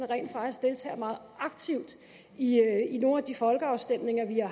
rent faktisk deltager meget aktivt i nogle af de folkeafstemninger vi har